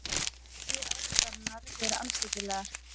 Hann segir ásakanirnar vera andstyggilegar